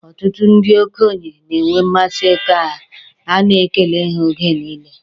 Ọtụtụ ndị okenye na-enwe mmasị ka a na-ekele ha oge niile.